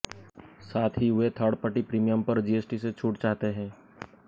साथ ही वे थर्ड पार्टी प्रीमियम पर जीएसटी से छूट चाहते हैं